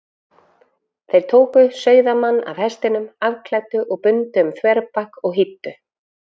Þeir tóku sauðamann af hestinum, afklæddu og bundu um þverbak og hýddu.